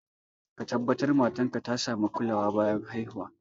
Ka tabbatar matar ka ta sami kulawa bayan ta haihu